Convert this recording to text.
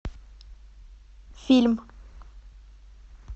фильм